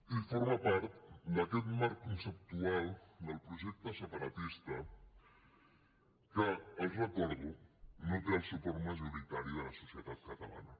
i forma part d’aquest marc conceptual del projecte separatista que els ho recordo no té el suport majoritari de la societat catalana